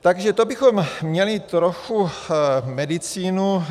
Takže to bychom měli trochu medicínu.